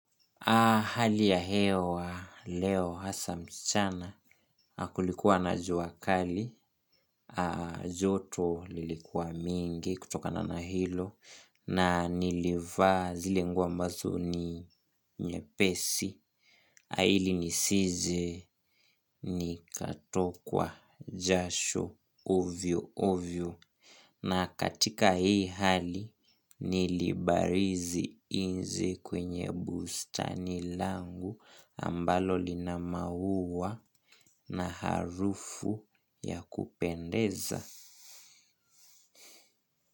Hali ya hewa leo hasa mchana, kulikuwa na jua kali, joto lilikuwa mingi kutokana na hilo, na nilivaa zile nguo ambazo ni nyepesi, ili nisije nikatokwa jasho ovyo ovyo. Na katika hii hali nilibarizi nje kwenye bustani langu ambalo lina maua na harufu ya kupendeza.